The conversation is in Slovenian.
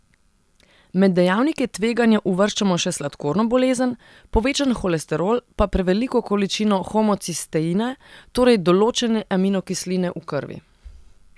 Med dejavnike tveganja uvrščamo še sladkorno bolezen, povečan holesterol, pa preveliko količino homocisteina, torej določene aminokisline v krvi.